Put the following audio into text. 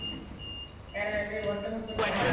யாராவது ஒருத்தவங்க சொல்லுங்க